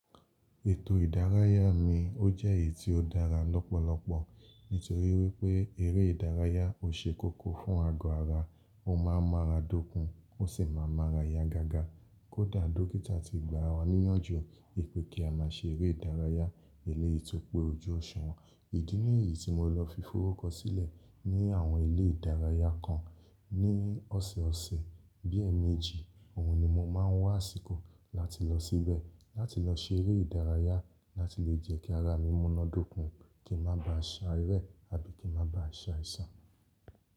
Ètò ìdárayá mi, ó jẹ́ èyí tí ó dára lọ́pọ̀lọpọ̀ nítorí wípé eré ìdárayá ò ṣe kókó fún ago ara. O má a ḿ ara dọ́kun, ó sì má a ḿ ara yá gágá. Kódà dókítà ti gba wa níyànjú wípé kí á má ṣe eré ìdárayá eléyìí tó pé ojú òṣùwọ̀n Ìdí nìyí tí mo lọ fi fórúkọ sílẹ̀ ní àwọn ilé ìdárayá kan ní ọ̀sẹ̀ọ̀sẹ̀. Bí ẹ́ẹ̀ẹ̀méjì, òhun ni mo má a ń wá àsìkò láti lọ síbẹ̀, láti lọ ṣe eré ìdárayá láti lè jẹ́ kí ara mi múná dọ́kun, kí n má ba à ṣà rẹ́ àbí kí n má ba à ṣe àìsàn.